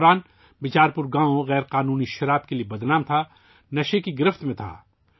اس وقت بیچار پور گاؤں غیر قانونی شراب کے لیے بدنام تھا، نشہ کی گرفت میں تھا